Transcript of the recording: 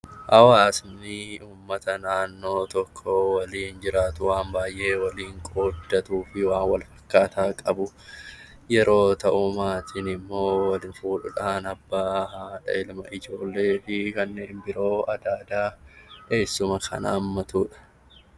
Hawaasni uummata naannoo tokko waliin jiraatu, waan baay'ee waliin qooddatu, waa wal fakkaataa qabu yeroo ta'u; Maatiin immoo wal fuudhuu dhaan Abbaa, Haadha, Ilma, Ijoollee fi kanneen biroo Adaadaa, Eessuma kan haammatu dha.